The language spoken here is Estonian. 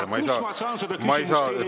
Aga kus ma saan seda küsimust teile esitada?